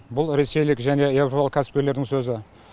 бұл ресейлік және еуропалық кәсіпкерлердің сөзі